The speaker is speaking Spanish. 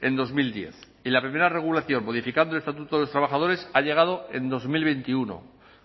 en dos mil diez y la primera regulación modificando el estatuto de los trabajadores ha llegado en dos mil veintiuno